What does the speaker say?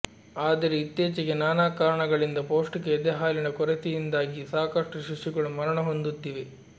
ಆದರೆ ಇತ್ತೀಚೆಗೆ ನಾನಾ ಕಾರಣಗಳಿಂದ ಪೌಷ್ಟಿಕ ಎದೆಹಾಲಿನ ಕೊರತೆಯಿಂದಾಗಿ ಸಾಕಷ್ಟು ಶಿಶುಗಳು ಮರಣ ಹೊಂದುತ್ತಿವೆ